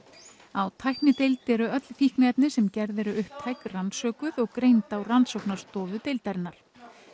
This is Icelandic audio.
á tæknideild eru öll fíkniefni sem gerð eru upptæk rannsökuð og greind á rannsóknarstofu deildarinnar